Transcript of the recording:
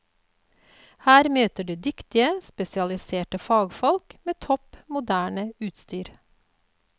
Her møter du dyktige spesialiserte fagfolk, med topp moderne utstyr.